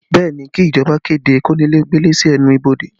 Bẹẹ ni, kí ìjọba kéde kónílé ó gbélé sí ẹnu ibodè